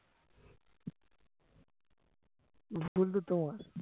ভুল তো তোমার